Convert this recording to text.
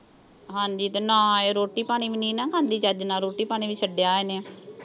ਹਾਂਜੀ ਤੇ ਨਾ ਇਹ ਰੋਟੀ-ਪਾਣੀ ਵੀ ਨੀਂ ਨਾ ਖਾਂਦੀ ਚੱਜ ਨਾਲ, ਰੋਟੀ-ਪਾਣੀ ਵੀ ਛੱਡਿਆ ਇਹਨੇ।